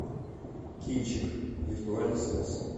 кинчик виртуальный секс